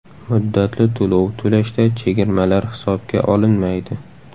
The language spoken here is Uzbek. Muddatli to‘lov to‘lashda chegirmalar hisobga olinmaydi.